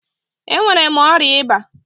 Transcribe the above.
Ee enwere mụ ọrịa ịba.